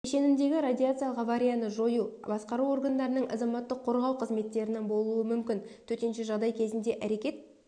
кешеніндегі радиациялық аварияны жою басқару органдарының азаматтық қорғау қызметтерінің болуы мүмкін төтенше жағдай кезінде әрекет